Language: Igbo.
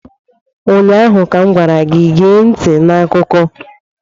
Ụnyaahụ m gwara gị, gee ntị n'akụkọ!